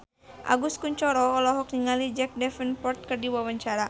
Agus Kuncoro olohok ningali Jack Davenport keur diwawancara